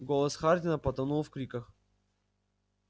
голос хардина потонул в криках